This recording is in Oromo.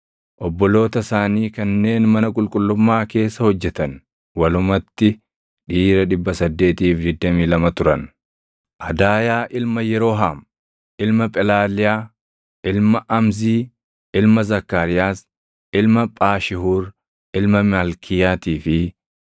obboloota isaanii kanneen mana qulqullummaa keessa hojjetan; walumatti dhiira 822 turan. Adaayaa ilma Yerooham, ilma Phelaaliyaa, ilma Amzii, ilma Zakkaariyaas, ilma Phaashihuur, ilma Malkiyaatii fi